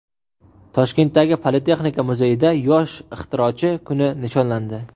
Toshkentdagi Politexnika muzeyida Yosh ixtirochi kuni nishonlandi.